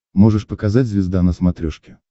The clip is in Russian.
можешь показать звезда на смотрешке